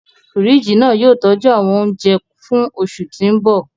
Fíríjì náà yóò tọ́jú àwọn ohun oúnjẹ fún oṣù tí ń bọ̀